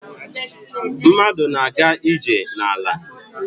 Mmadụ na-aga ije n'ala.